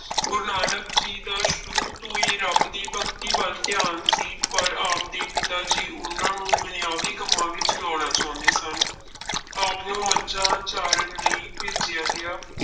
ਗੁਰੂ ਨਾਨਕ ਜੀ ਦਾ ਸ਼ੁਰੂ ਤੋਂ ਹੀ ਰੱਬ ਦੀ ਭਗਤੀ ਵੱਲ ਧਿਆਾਨ ਸੀ ਪਰ ਆਪਦੇ ਪਿਤਾ ਜੀ ਉਹਨਾਂ ਨੂੰ ਦੁਨਿਆਵੀ ਕੰਮਾਂ ਵਿੱਚ ਲਾਉਣਾ ਚਾਹੁੰਦੇ ਸਨ ਆਪਨੂੰ ਮੱਝਾਂ ਚਾਰਨ ਲਈ ਭੇਜਿਆ ਗਿਆ।